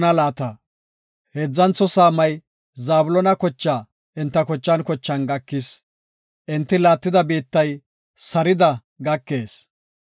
Heedzantho saamay Zabloona kochaa enta kochan kochan gakis. Enti laattida biittay Sarida gakees.